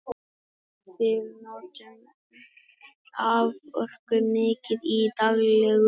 við notum raforku mikið í daglegu lífi